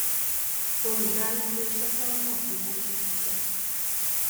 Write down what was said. olùdarí ilé iṣẹ́ fẹ́ mọ bí owó ṣe ń ṣiṣẹ́.